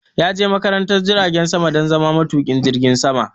Ya je makarantar jiragen sama don zama matuƙin jirgin sama